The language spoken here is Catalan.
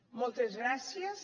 moltes gràcies